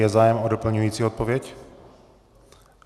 Je zájem o doplňující odpověď?